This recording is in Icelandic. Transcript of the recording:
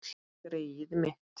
Greyið mitt